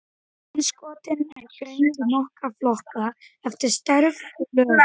Innskotin eru greind í nokkra flokka eftir stærð og lögun.